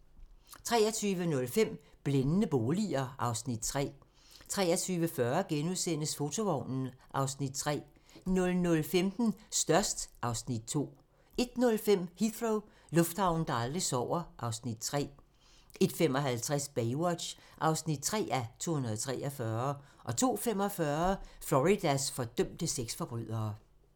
23:05: Blændende boliger (Afs. 3) 23:40: Fotovognen (Afs. 3)* 00:15: Størst (Afs. 2) 01:05: Heathrow - lufthavnen, der aldrig sover (Afs. 3) 01:55: Baywatch (3:243) 02:45: Floridas fordømte sexforbrydere